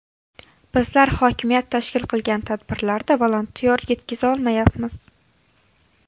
Bizlar hokimiyat tashkil qilgan tadbirlarda volontyor yetkiza olmayapmiz.